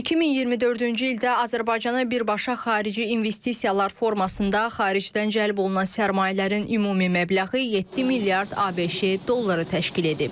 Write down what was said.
2024-cü ildə Azərbaycana birbaşa xarici investisiyalar formasında xaricdən cəlb olunan sərmayələrin ümumi məbləği 7 milyard ABŞ dolları təşkil edib.